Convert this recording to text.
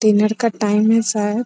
तीन लड़का टाईम है शायद।